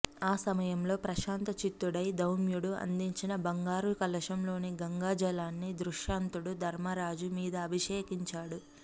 ఆ సమయంలో ప్రశాంత చిత్తుడై ధౌమ్యుడు అందించిన బంగారుకలశం లోని గంగాజలాన్ని ధృతరాష్ట్రుడు ధర్మరాజు మీద అభిషేకించాడు